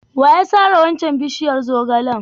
Wa ya sare waccan bishiyar zogalen?